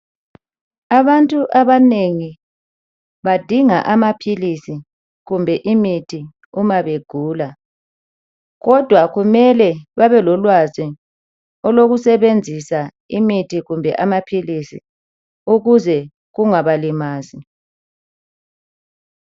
Abantu abanengi badinga amaphilisi kumbe imithi uma begula kodwa kumele babelolwazi olokusebenzisa imithi kumbe amaphilisi ukuze kungabalimazi.